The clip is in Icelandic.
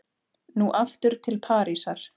Nú aftur til Parísar.